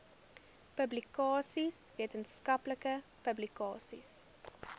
publikasies wetenskaplike publikasies